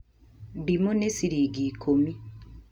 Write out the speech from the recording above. ndimũ nĩ ciringi ikũmi